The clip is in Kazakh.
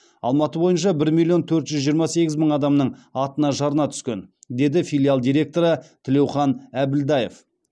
алматы бойынша бір миллион төрт жүз жиырма сегіз мың адамның атына жарна түскен деді филиал директоры тілеухан әбілдаев